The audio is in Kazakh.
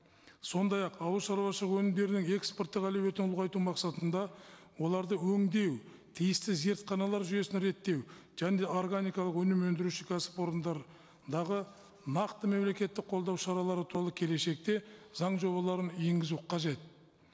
сондай ақ ауыл шаруашылығы өнімдерінің экспорттық әлеуетін ұлғайту мақсатында оларды өндеу тиісті зертханалар жүйесін реттеу және де органикалық өнім өндіруші кәсіпорындардағы нақты мемлекеттік қолдау шаралары толы келешекте заң жобаларын енгізу қажет